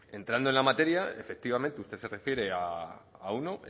entrando en la materia efectivamente usted se refiere a uno